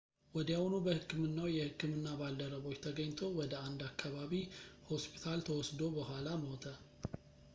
ወዲያውኑ በሕክምናው የሕክምና ባልደረቦች ተገኝቶ ወደ አንድ የአከባቢ ሆስፒታል ተወስዶ በኋላ ሞተ